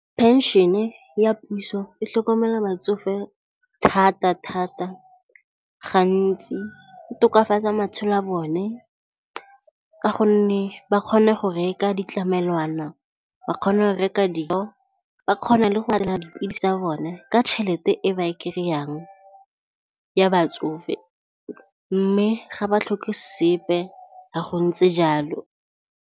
Pension-e ya puso e tlhokomela batsofe thata thata gantsi e tokafatsa matshelo a bone ka gonne ba kgone go reka ditlamelwana, ba kgona go reka ba kgona le go tsa bone ka tšhelete e ba e kry-ang ya batsofe mme ga ba tlhoke sepe ga go ntse jalo.